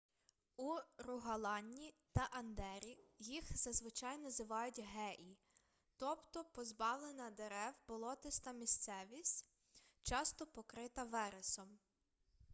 у ругаланні та андері їх зазвичай називають геі тобто позбавлена дерев болотиста місцевість часто покрита вересом